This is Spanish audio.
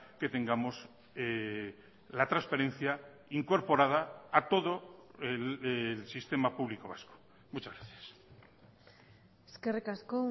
que tengamos la transparencia incorporada a todo el sistema público vasco muchas gracias eskerrik asko